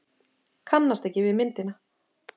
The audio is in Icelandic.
Kannast ekki við myndina.